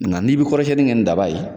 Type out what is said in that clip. Nka n'i bɛ kɔrɔsiɲɛni kɛ ni daba ye.